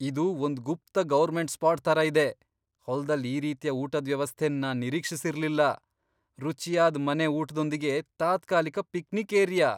ಇದು ಒಂದ್ ಗುಪ್ತ ಗೌರ್ಮೆಂಟ್ ಸ್ಪಾಟ್ ತರ ಇದೆ !ಹೊಲ್ದಲ್ ಈ ರೀತಿಯ ಊಟದ್ ವ್ಯವಸ್ಥೆನ್ ನಾನ್ ನಿರೀಕ್ಷಿಸಿರ್ಲಿಲ್ಲ, ರುಚಿಯಾದ್ ಮನೆ ಊಟ್ದೊಂದಿಗೆ ತಾತ್ಕಾಲಿಕ ಪಿಕ್ನಿಕ್ ಏರಿಯಾ !